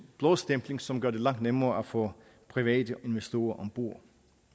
blåstempling som gør det langt nemmere at få private investorer om bord